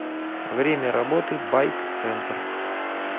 время работы байк центр